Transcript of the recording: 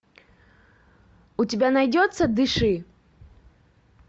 у тебя найдется дыши